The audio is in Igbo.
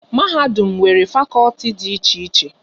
Mahadum nwere fakọlti dị iche iche